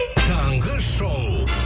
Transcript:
таңғы шоу